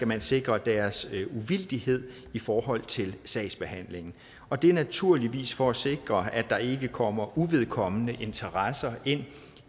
man sikrer deres uvildighed i forhold til sagsbehandlingen og det er naturligvis for at sikre at der ikke kommer uvedkommende interesser ind